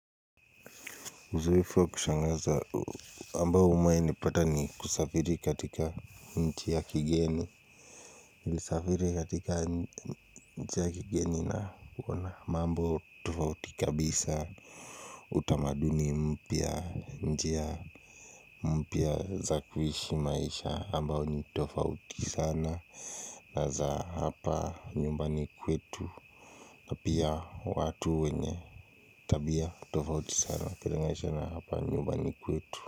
Uzoefu wa kushangaza ambao umewainipata ni kusafiri katika nchi ya kigeni. Nilisafiri katika nchi ya kigeni na kuona mambo tofauti kabisa utamaduni mpya, nji mpya za kuishi maisha ambayo ni tofauti sana na za hapa nyumbani kwetu na pia watu wenye tabia tofauti sana ukilingaisha na hapa nyumbani kwetu.